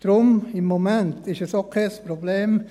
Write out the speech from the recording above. Deshalb: Im Moment ist es auch kein Problem.